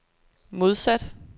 modsat